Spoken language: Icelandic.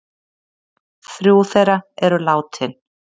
Þrjú þeirra eru látin